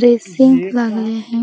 Racing आहे.